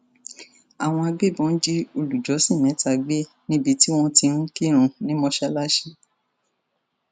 àwọn agbébọn jí olùjọsìn mẹta gbé níbi tí wọn ti ń kírun ní mọṣáláṣí